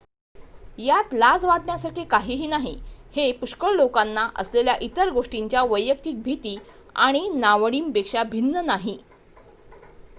यात लाज वाटण्यासारखे काही नाही हे पुष्कळ लोकांना असलेल्या इतर गोष्टींच्या वैयक्तिक भीती आणि नावडींपेक्षा भिन्न नाही